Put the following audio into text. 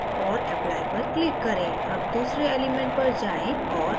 और apply पर click करें अब दूसरे element पर जाएँ और arcs type करें